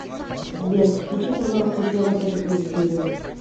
сбер включи пожалуйста еще раз это произведение